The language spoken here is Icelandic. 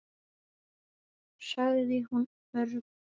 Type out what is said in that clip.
sagði hún örg.